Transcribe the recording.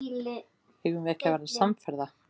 Eigum við ekki að verða samferða?